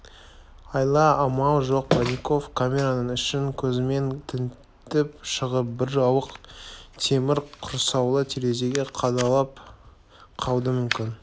айла-амал жоқ бронников камераның ішін көзімен тінтіп шығып бір ауық темір құрсаулы терезеге қадалып қалды мүмкін